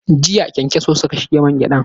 Jiya ƙyankyaso suka shige mangyadan.